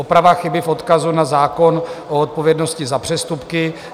Oprava chyby v odkazu na zákon o odpovědnosti za přestupky.